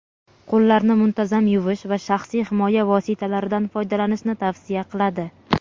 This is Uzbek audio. qo‘llarni muntazam yuvish va shaxsiy himoya vositalaridan foydalanishni tavsiya qiladi.